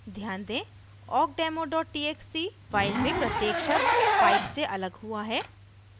ध्यान दें awkdemo txt file में प्रत्येक शब्द pipe से अलग हुआ है